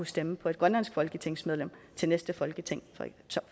stemme på et grønlandsk folketingsmedlem til næste folketingsvalg